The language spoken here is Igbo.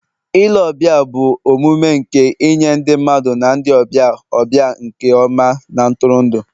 ile ọbịa bụ omume nke inye ndị mmadụ na ndị ọbịa ọbịa nke ọma na ntụrụndụ